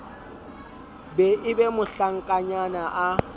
be e be mohlankanyana a